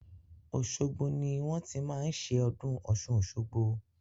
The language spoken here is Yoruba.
Òṣogbo ni wọ́n ti máa ń ṣe ọdún Ọ̀ṣun-Òṣogbo.